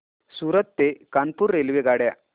सूरत ते कानपुर रेल्वेगाड्या